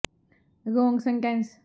ਪਹਿਲੀ ਖਾਸ ਤੌਰ ਤੇ ਇੱਕ ਵਿਸ਼ਾ ਜ ਕੋਈ ਵੀ ਸਿੱਟਾ ਹੈ